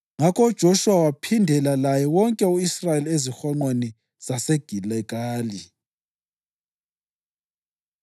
Ngakho uJoshuwa waphindela laye wonke u-Israyeli ezihonqweni zaseGiligali.